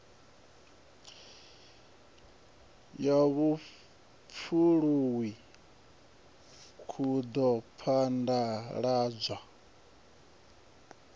ya vhupfuluwi ku ḓo phaḓaladzwa